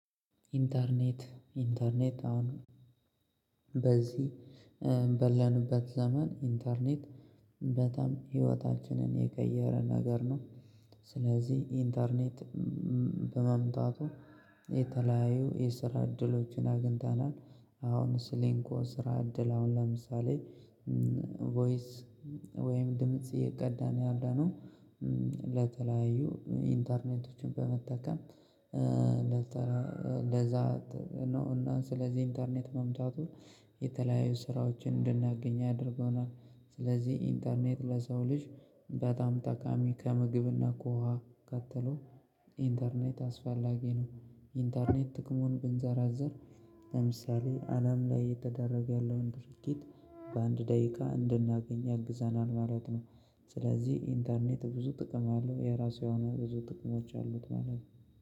ኢንተርኔት ኢንተርኔት አሁን በዚህ ባለንበት ዘመን ኢንተርኔት በጣም ህይወታችንን የቀየረ ነገር ነው። ስለዚህ ኢንተርኔት በመምጣቱ የተለያዩ የስራ እድሎችን አግኝተናል። አሁን ስሊንኮ ስራ እድል አሁን ለምሳሌ ቮይስ ወይም ድምጽ እየቀዳን ያለነው ለተለያዩ ኢንተርኔቶችን በመጠቀም። ለዛ ነው እና ስለዚህ ኢንተርኔት መምጣቱ የተለያዩ ስራዎችን እንድናገኝ አድርጎናል። ስለዚህ ኢንተርኔት ለሰው ልጅ በጣም ጠቃሚ ከምግብ እና ከውሃ ቀጥሎ ኢንተርኔት አስፋላጊ ነው። ኢንተርኔት ጥቅሙን ብንዘረዝር ለምሳሌ አለም ላይ እየተደረገ ያለውን ድርጊት በአንድ ደቂቃ እንድናገኝ ያግዛናል ማለት ነው። ስለዚህ ኢንተርኔት ብዙ ጥቅም አለው የራሱ የሆነ ብዙ ጥቅሞች አሉት ማለት ነው